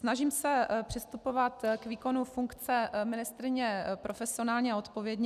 Snažím se přistupovat k výkonu funkce ministryně profesionálně a odpovědně.